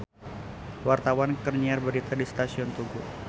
Wartawan keur nyiar berita di Stasiun Tugu